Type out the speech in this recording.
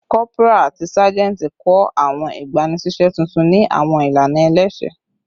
Corporal ati sajenti kọ awọn igbanisiṣẹ tuntun ni awọn ilana ẹlẹsẹ